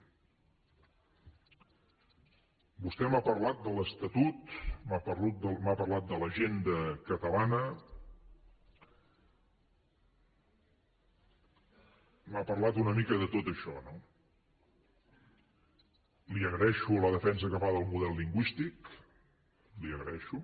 vostè m’ha parlat de l’estatut m’ha parlat de l’agenda catalana m’ha parlat una mica de tot això no li agraeixo la defensa que fa del model lingüístic la hi agraeixo